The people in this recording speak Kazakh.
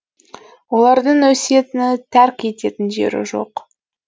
олардың өсиетін тәрк еткен жері жоқ